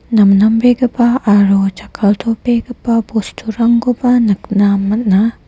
namnambegipa aro jakkaltobegipa bosturangkoba nikna man·a.